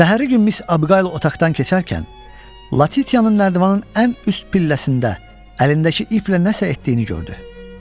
Səhərin günü Miss Abiqayıl otaqdan keçərkən Latitiyanın nərdivanın ən üst pilləsində əlindəki iplə nəsə etdiyini gördü.